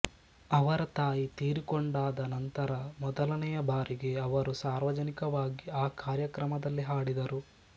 ಅವರ ತಾಯಿ ತೀರಿಕೊಂಡಾದ ನಂತರ ಮೊದಲನೆಯ ಬಾರಿಗೆ ಅವರು ಸಾರ್ವಜನಿಕವಾಗಿ ಈ ಕಾರ್ಯಕ್ರಮದಲ್ಲಿ ಹಾಡಿದರು